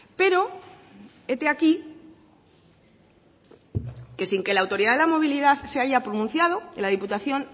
pero hete aquí que sin que la autoridad de la movilidad se haya pronunciado la diputación